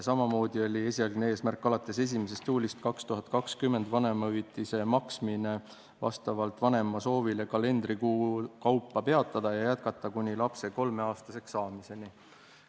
Samamoodi oli esialgne eesmärk alates 1. juulist 2020 vanemahüvitise maksmine vastavalt vanema soovile kalendrikuu kaupa peatada ja jätkata kuni lapse kolmeaastaseks saamiseni.